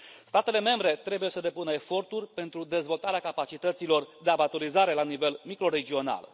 Statele membre trebuie să depună eforturi pentru dezvoltarea capacităților de abatorizare la nivel microregional.